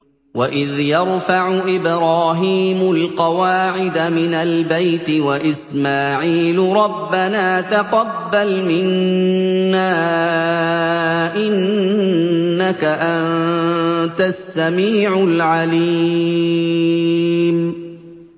وَإِذْ يَرْفَعُ إِبْرَاهِيمُ الْقَوَاعِدَ مِنَ الْبَيْتِ وَإِسْمَاعِيلُ رَبَّنَا تَقَبَّلْ مِنَّا ۖ إِنَّكَ أَنتَ السَّمِيعُ الْعَلِيمُ